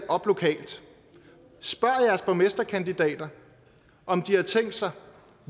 op lokalt spørg jeres borgmesterkandidater om de har tænkt sig